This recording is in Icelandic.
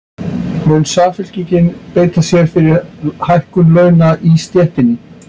Mun Samfylkingin beita sér fyrir hækkun launa í stéttinni?